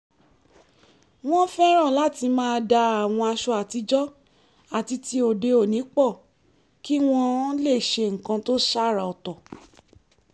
wọ́n fẹ́ràn láti máa da àwọn aṣọ àtijọ́ àti ti òde-òní pọ̀ kí wọ́n lè ṣe nǹkan tó ṣàrà ọ̀tọ̀